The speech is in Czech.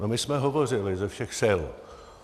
No, my jsme hovořili ze všech sil.